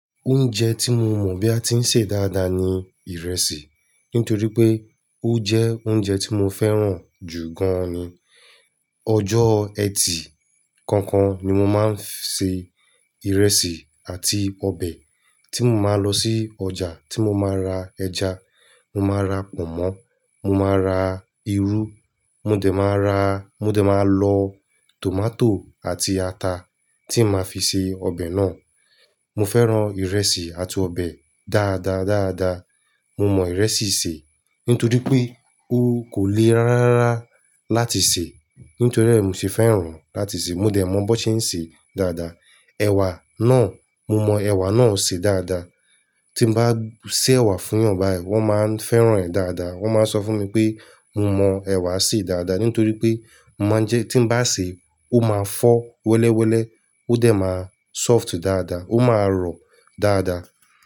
Oúnjẹ tí mo mọ̀ bí a ti ń ṣe dáadáa ni ìrẹsì. Nítorí pé ó jẹ́ oúnjẹ tí mo fẹ́ràn jù gan ni. Ọjọ́ ẹtì kọọkan ni mo máa ń ṣe ìrẹsì àti ọbẹ̀. Tí mo máa lọ sí ọjà tí mo máa ra ẹja, mo máa ra pọ̀nmọ́, mo máa ra irú, mo dẹ̀ máa ra, mo dẹ̀ máa lọ tòmátò àti ata tí màá fi ṣe ọbẹ̀ náà. Mo fẹ́ràn ìrẹsì àti ọbẹ̀ dáadáa, dáadáa. Mo mọ ìrẹsì ṣe nítorí pé ó kò le rárá láti sè. Nítorí rẹ̀ mi sì fẹ́ràn láti sè. Mo dẹ̀ mọ bó ṣe ń ṣe dáadáa. Ẹ̀wà náà, mo mọ ẹ̀wà náà sè dáadáa. Tí bá sé ẹ̀wà fún ènìyàn báyìí wọ́n máa ń fẹ́ràn rẹ̀ dáadáa. Wọ́n máa ń sọ fún mi pé mo mọ ẹ̀wà sé dáadáa nítorí pé mo máa ń jẹ́ tí bá sè, ó máa fọ́ wẹ́lẹ́wẹ́lẹ́, ó dẹ̀ máa soft dáadáa, ó máa rọ̀ dáadáa.